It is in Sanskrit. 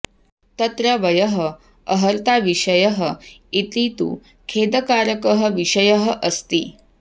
तत्र वयः अर्हताविषयः इति तु खेदकारकः विषयः अस्ति